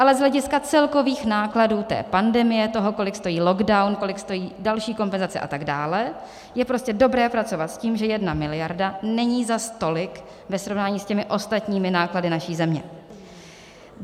Ale z hlediska celkových nákladů té pandemie, toho, kolik stojí lockdown, kolik stojí další kompenzace a tak dále, je prostě dobré pracovat s tím, že jedna miliarda není zas tolik ve srovnání s těmi ostatními náklady naší země.